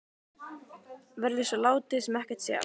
Verður svo látið sem ekkert sé?